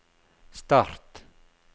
start